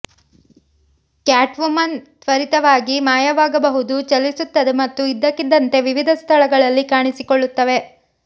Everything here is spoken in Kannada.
ಕ್ಯಾಟ್ವುಮನ್ ತ್ವರಿತವಾಗಿ ಮಾಯವಾಗಬಹುದು ಚಲಿಸುತ್ತದೆ ಮತ್ತು ಇದ್ದಕ್ಕಿದ್ದಂತೆ ವಿವಿಧ ಸ್ಥಳಗಳಲ್ಲಿ ಕಾಣಿಸಿಕೊಳ್ಳುತ್ತವೆ